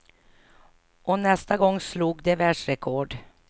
Och nästa gång slog de världsrekord.